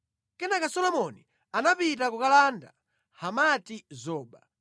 Kenaka Solomoni anapita kukalanda Hamati-zoba.